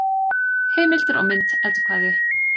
Heimildir og mynd Eddukvæði.